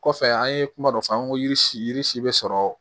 Kɔfɛ an ye kuma dɔ fɔ an ko yiri si yiri si bɛ sɔrɔ